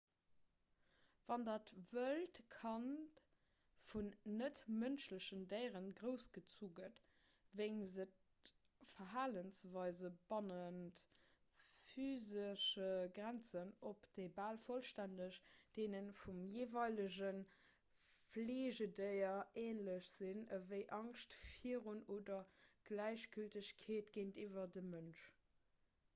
wann dat wëllt kand vun net-mënschlechen déiere groussgezu gëtt weist et verhalensweise bannent physesche grenzen op déi bal vollstänneg deene vum jeeweilege fleegedéier änlech sinn ewéi angscht virun oder gläichgültegkeet géintiwwer dem mënsch